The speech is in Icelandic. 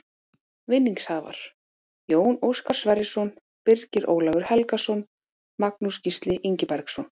Vinningshafar: Jón Óskar Sverrisson Birgir Ólafur Helgason Magnús Gísli Ingibergsson